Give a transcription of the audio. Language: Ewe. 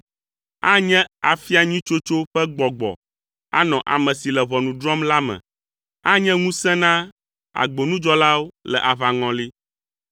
Anye afia nyui tsotso ƒe gbɔgbɔ anɔ ame si le ʋɔnu drɔ̃m la me. Anye ŋusẽ na agbonudzɔlawo le aʋaŋɔli.